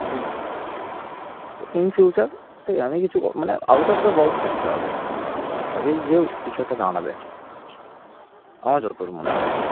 তবেই কিছু একটা দাঁড়াবে আমার যতদূর মনে হয়